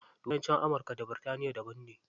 Turanci amurka da birtaniya daban ne.